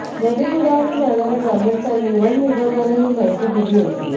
नदीपुलावरुन जाणाऱ्या ग्रामस्थांनी वन विभागाला ही माहिती दिली होती